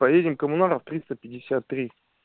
поедем коммунаров триста пятьдесят три